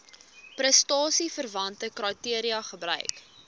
prestasieverwante kriteria gebruik